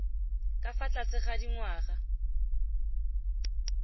ka fa tlase ga dingwaga